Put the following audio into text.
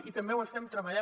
i també ho estem treballant